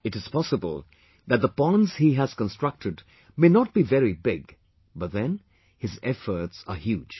It is possible that the ponds he has constructed may not be very big but then his efforts are huge